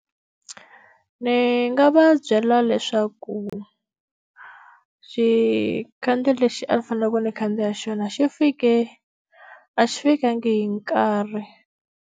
Ni nga va byela leswaku, xikhandziya lexi a ni fanekele ni khandziya xona xi fike, a xi fikangi hi nkarhi.